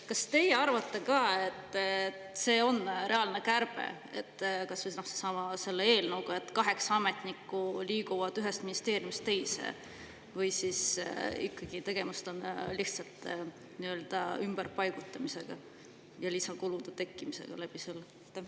Kas teie arvate ka, et see on reaalne kärbe, kas või selle eelnõu puhul – kaheksa ametnikku liigub ühest ministeeriumist teise –, või on tegemist ikkagi lihtsalt inimeste ümberpaigutamisega, seega lisakulude tekkimisega?